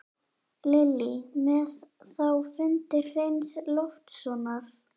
Lillý: Með þá fundi Hreins Loftssonar?